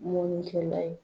Mɔnnikɛla ye